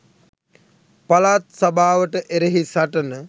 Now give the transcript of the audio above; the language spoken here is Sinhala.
පළාත් සභාවට එරෙහි සටන